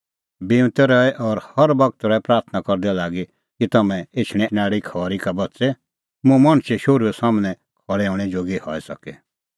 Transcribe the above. बिऊंतै रहै और हर बगत रहै प्राथणां करदै लागी कि तम्हैं एछणैं आल़ी सारी खरी का बच़े मुंह मणछे शोहरूए सम्हनै खल़ै हणैं जोगी हई सके